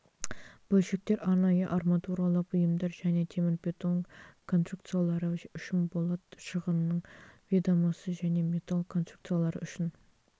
бөлшектер арнайы арматуралық бұйымдар және темірбетон конструкциялары үшін болат шығынның ведомосы және металл конструкциялары үшін